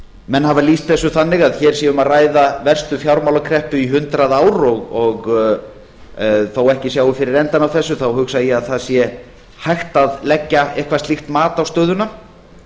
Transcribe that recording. menn hafa lýst þessu þannig að hér sé um að ræða verstu fjármálakreppu í hundrað ár og þó ekki sjái fyrir endann á þessu þá hugsa ég að það sé hægt að leggja eitthvað slíkt mat á stöðuna